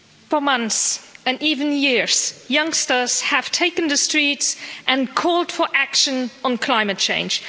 Madam President, for months, and even years, youngsters have taken to the streets and called for action on climate change.